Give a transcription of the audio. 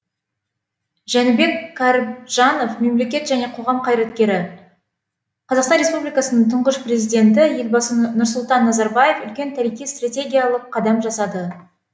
жәнібек кәрібжанов мемлекет және қоғам қайраткері қазақстан республикасының тұңғыш президенті елбасы нұрсұлтан назарбаев үлкен тарихи стратегиялық қадам жасады